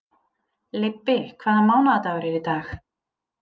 Leibbi, hvaða mánaðardagur er í dag?